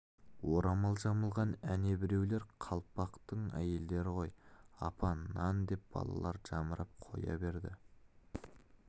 орамал жамылған әне біреулер қалпақтың әйелдері ғой апа нан деп балалар жамырап қоя берді